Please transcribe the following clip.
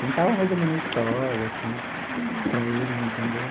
Contava mais ou menos a história, assim. Uhum. Para eles, entendeu?